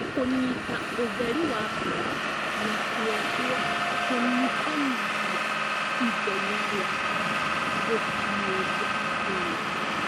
Kũnyita ũtheri wa mbura na kwoguo kũnyihanyihia ithenya rĩa mbura gũkinyĩria tĩri